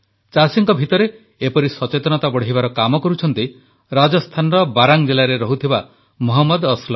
ଚାଷୀଙ୍କ ଭିତରେ ଏପରି ସଚେତନତା ବଢ଼ାଇବାର କାମ କରୁଛନ୍ତି ରାଜସ୍ଥାନର ବାରାଂ ଜିଲାରେ ରହୁଥିବା ମହମ୍ମଦ ଅସଲମ